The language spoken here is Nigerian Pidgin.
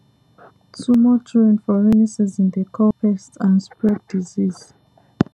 too much rain for rainy season dey call pest and spread disease